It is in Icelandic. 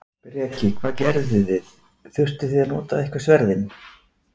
Breki: Hvað gerðuði, þurftuð þið að nota eitthvað sverðin?